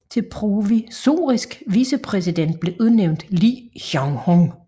Til provisorisk vicepræsident blev udnævnt Li Yuanhong